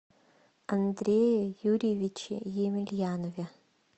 андрее юрьевиче емельянове